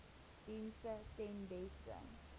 dienste ten beste